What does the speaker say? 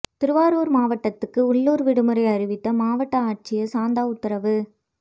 திருவாரூர் மாவட்டத்துக்கு உள்ளூர் விடுமுறை அறிவித்து மாவட்ட ஆட்சியர் சாந்தா உத்தரவு